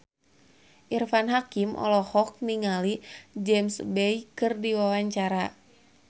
Irfan Hakim olohok ningali James Bay keur diwawancara